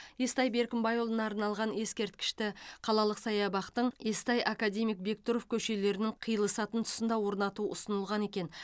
естай беркімбайұлына арналған ескерткішті қалалық саябақтың естай академик бектұров көшелерінің қиылысатын тұсында орнату ұсынылған екен